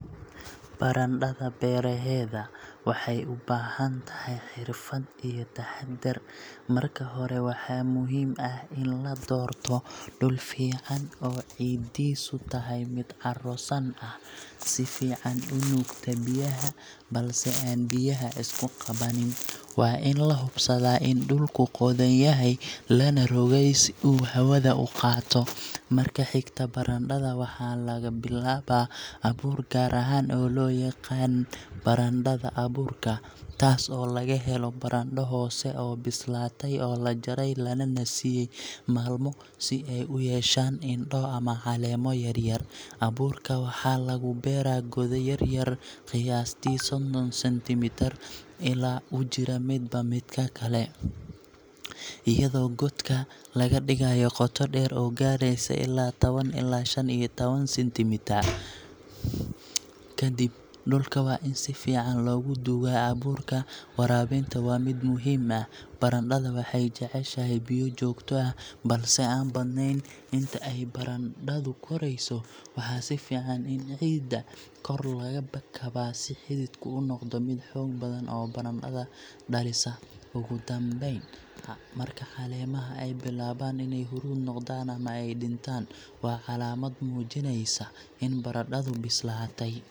Barandhada beeraheeda waxay u baahan tahay xirfad iyo taxaddar. Marka hore, waxaa muhiim ah in la doorto dhul fiican oo ciiddiisu tahay mid carro san ah, si fiican u nuugta biyaha, balse aan biyaha isku qabanin. Waa in la hubsadaa in dhulku qodan yahay, lana rogay si uu hawada u qaato. Marka xigta, barandhada waxaa laga bilaabaa abuur gaar ah oo loo yaqaan barandhada abuurka taas oo laga helo barandho hore u bislaatay oo la jaray lana nasiyay maalmo si ay u yeeshaan indho ama caleemo yaryar. Abuurka waxaa lagu beeraa godad yar-yar, qiyaastii soddon centimetre u jira midba midka kale, iyadoo godka laga dhigayo qoto dheer oo gaareysa ilaa tawan ilaa -shan iyo tawan centimetre. Kadib, dhulka waa in si fiican loogu duugaa abuurka. Waraabinta waa mid muhiim ah – barandhada waxay jeceshahay biyo joogto ah, balse aan badnayn. Inta ay barandhadu korayso, waxaa fiican in ciidda kor laga kabaa si xididku u noqdo mid xoog badan oo barandho badan dhalisa. Ugu dambeyn, marka caleemaha ay bilaabaan inay huruud noqdaan ama ay dhintaan, waa calaamad muujinaysa in barandhadu bislaatay. Markaas ayaa la goosan karaa, si taxaddar leh oo aan waxyeello loogu geysan. Barandhada beeraheedu waa farxad iyo faa’iido. Haddii si sax ah loo beero, waxay noqon kartaa il dhaqaale iyo cunto isku mar ah.